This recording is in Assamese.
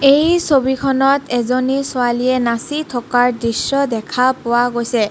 এই ছবিখনত এজনী ছোৱালীয়ে নাচি থকা দৃশ্য দেখা পোৱা গৈছে.